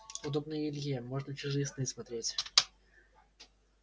удобно и илье можно чужие сны смотреть